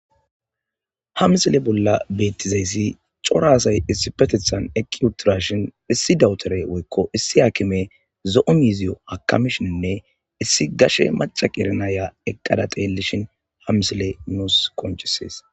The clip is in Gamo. Ha misile bolla betizaysi coray issipetetan eqi utidashn issi doctorey woyko issi hakimey zo'o miziya akamishninne is gashe maca qeri Naya eqada xeelishn ha misiley nuusi qoncises.